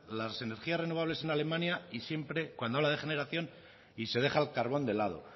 las energías renovables en alemania y siempre cuando habla de generación y se deja el carbón de lado